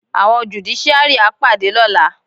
Àwọn jùdíṣíárì á pàdé lọ́la.